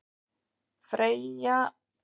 Freyja Dís Númadóttir: Hvað er rétt?